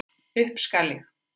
Upp skal ég.